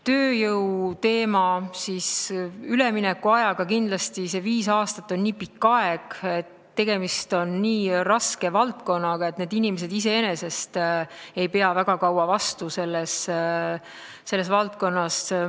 Tööjõuteema ja üleminekuaeg – kindlasti on viis aastat pikk aeg ja tegemist on nii raske valdkonnaga, et inimesed ei pea väga kaua selles valdkonnas vastu.